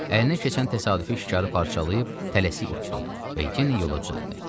Əlinə keçən təsadüfi şikarı parçalayıb tələsik utdu və yenə yola düzəldi.